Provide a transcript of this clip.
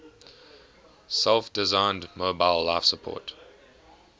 self designed mobile life support